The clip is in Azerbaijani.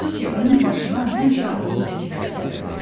Odur ki, onun başına həmişə ağıllı fikirlər gəlirdi.